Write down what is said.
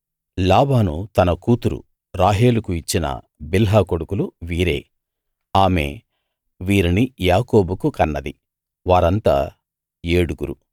లాబాను తన కూతురు రాహేలుకు ఇచ్చిన బిల్హా కొడుకులు వీరే ఆమె వారిని యాకోబుకు కన్నది వారంతా ఏడుగురు